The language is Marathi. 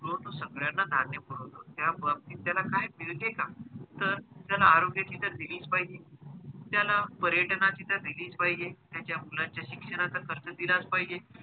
तो सगळ्यांना धान्य पुरवतो त्या बाबतीत त्याला काही मिळतेका तर त्याला आरोग्य तर दिलेच पाहिजे त्याला पर्यटना ची तर दिलीच पाहिजे त्याचा मुलाचा शिक्षणाचा खर्च दिलाच पाहिजे